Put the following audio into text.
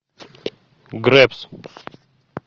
гребс